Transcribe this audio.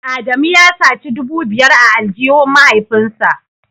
Adamu ya saci dubu biyar a aljihun mahaifinsa